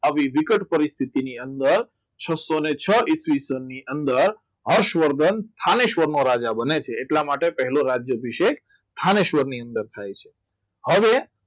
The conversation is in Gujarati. આવી વિકટ પરિસ્થિતિ ની અંદર છ્સોછો ઈસવીસન ની અંદર હર્ષવર્ધન સ્થાને સ્વરનો રાજા બને છે એટલા માટે પહેલો રાજા અભિષેક થાનેશ્વરની અંદર થાય છે હવે